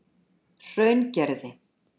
Hraungerði